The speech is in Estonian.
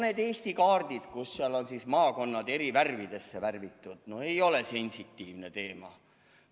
Need Eesti kaardid, kus on maakonnad eri värvidesse värvitud – no ei ole sensitiivne teema.